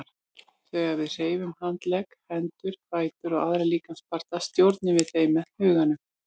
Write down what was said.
Þegar við hreyfum handleggi, hendur, fætur og aðra líkamsparta stjórnum við þeim með huganum.